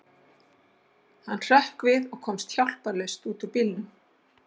Hann hrökk við og komst hjálparlaust út úr bílnum.